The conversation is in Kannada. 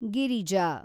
ಗಿರಿಜಾ